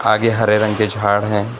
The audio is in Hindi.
आगे हरे रंग के झाड़ हैं।